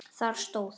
Þar stóð